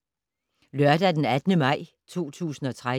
Lørdag d. 18. maj 2013